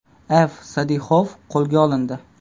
F. Sadixov qo‘lga olindi.